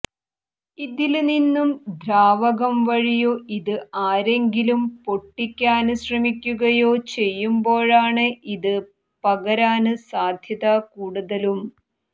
ഇതില് നിന്നു ദ്രാവകം വഴിയോ ഇത് ആരെങ്കിലും പൊട്ടിക്കാന് ശ്രമിയ്ക്കുകയോ ചെയ്യുമ്പോഴാണ് ഇത് പകരാന് സാധ്യത കൂടുതലും